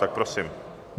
Tak prosím.